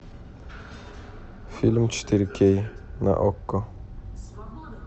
фильм четыре кей на окко